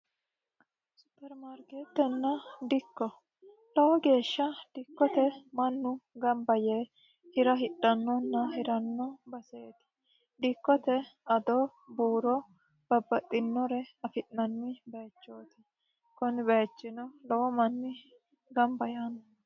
supermaarkeettenna dikko lowo geeshsha dikkote mannu gamba yee hira hidhannonna hiranno baseeti dikkote adoo buuro babbaxxinore afi'nanni baychooti kuni baychino lowo manni gamba yaanno